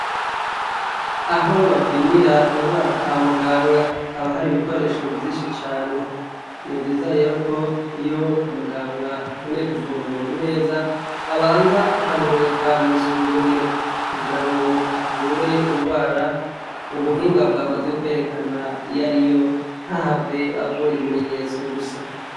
Aho bapimira indwara kwa muganga, haba hari ibikoresho vyinshi cane. Ni vyiza rero iyo umuganga akeneye kuvura umuntu neza, abanza akamurungika mw'isuzumiro, kugira ngo avure ingwara, ubuhinga bwamaze kwerekana iyari yo, ntahave avura ibimenyetso gusa.